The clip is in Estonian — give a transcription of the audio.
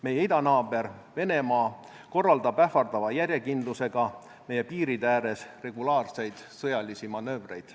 Meie idanaaber Venemaa korraldab ähvardava järjekindlusega meie piiride ääres regulaarseid sõjalisi manöövreid.